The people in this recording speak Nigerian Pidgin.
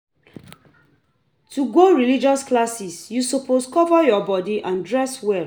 To go religious classes you suppose cover your body and dress well